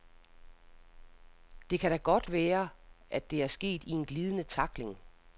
Det kan da godt være, at det er sket i en glidende tackling .